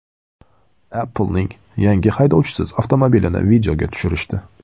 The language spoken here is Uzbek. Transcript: Apple’ning yangi haydovchisiz avtomobilini videoga tushirishdi .